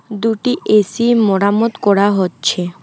দুটি এ_সি মরামত করা হচ্ছে।